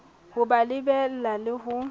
ho ba lebella le ho